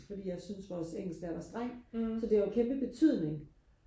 fordi jeg synes vores engelsklærer var streng så det har jo kæmpe betydning